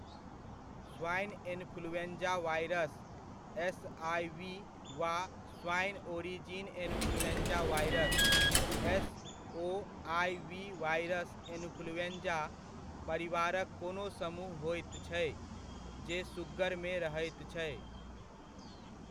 Swine influenza virus, SIV वा swine origin influenza virus, SOIV virus influenza परिवारक कोनो समूह होइत छै, जे सुग्गरमे रहैत छै।